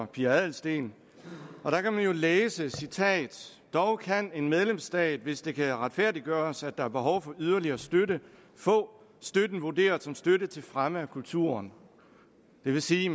pia adelsteen der kan man jo læse dog kan en medlemsstat hvis det kan retfærdiggøres at der er behov for yderligere støtte få støtten vurderet som støtte til fremme af kulturen det vil sige